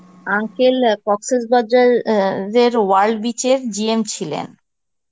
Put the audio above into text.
uncle অ্যাঁ Cox's Bazar অ্যাঁ জের world beach এর GM ছিলেন.